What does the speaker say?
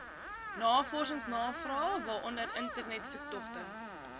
navorsingsnavrae waaronder internetsoektogte